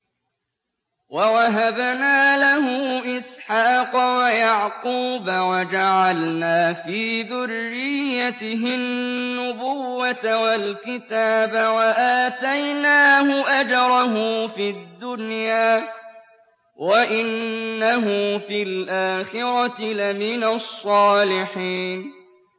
وَوَهَبْنَا لَهُ إِسْحَاقَ وَيَعْقُوبَ وَجَعَلْنَا فِي ذُرِّيَّتِهِ النُّبُوَّةَ وَالْكِتَابَ وَآتَيْنَاهُ أَجْرَهُ فِي الدُّنْيَا ۖ وَإِنَّهُ فِي الْآخِرَةِ لَمِنَ الصَّالِحِينَ